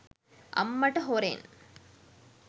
අම්මට හොරෙන්